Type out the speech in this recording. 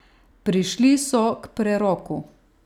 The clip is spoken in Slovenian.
Prišli so k preroku.